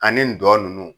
Ani dɔ ninnu